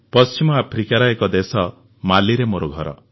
ପଶ୍ଚିମ ଆଫ୍ରିକାର ଏକ ଦେଶ ମାଲିରେ ମୋର ଘର